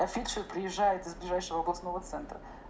а фельдшер приезжает из ближайшего областного центра